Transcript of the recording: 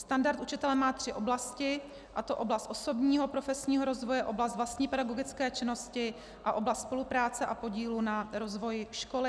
Standard učitele má tři oblasti, a to oblast osobního profesního rozvoje, oblast vlastní pedagogické činnosti a oblast spolupráce a podílu na rozvoji školy.